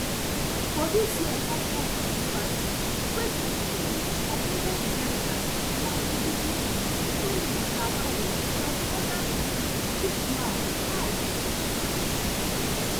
but dis year come cause controversy wey make ogbonge designers like veekee james toyin lawani plus oda celebrities chook mouth mouth for di mata